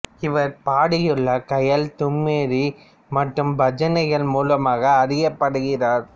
இவர் பாடியுள்ள காயல் தும்ரி மற்றும் பஜனைகள் மூலமாக அறியப்படுகிறார்